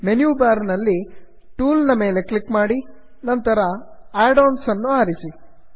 menu bar ನಲ್ಲಿ tools ಮೇಲೆ click ಮಾಡಿ ನಂತರ ಅಡಾನ್ಸ್ ಅನ್ನು ಆರಿಸಿ